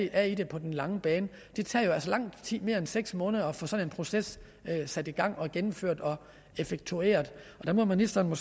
er i det på den lange bane det tager jo altså langt mere end seks måneder at få sådan en proces sat i gang og gennemført og effektueret og der må ministeren